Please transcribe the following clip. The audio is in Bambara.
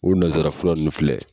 U nansara fula nunnu filɛ.